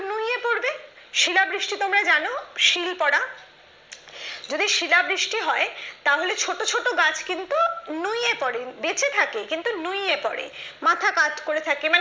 শিলা বৃষ্টি তোমরা জানো শীল পড়া যদি শিলাবৃষ্টি হয় তাহলে ছোট ছোট গাছ কিন্তু নুইয়ে পড়ে বেঁচে থাকে কিন্তু নুইয়ে পড়ে, মাথা কাত করে থাকে।